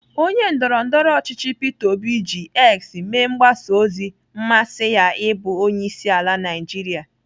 Onye ndọrọndọrọ ọchịchị Peter obi ji X mee mgbasa ozi mmasị ya ịbụ onyeisiala Naijiria.